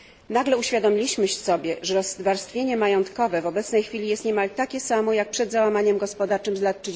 Nagle uświadomiliśmy sobie, że rozwarstwienie majątkowe w obecnej chwili jest niemal takie samo jak przed załamaniem gospodarczym z lat